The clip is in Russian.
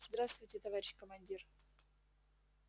здравствуйте товарищ командир